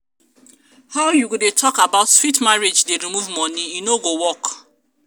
how you go dey talk about sweet marriage dey remove money e no work.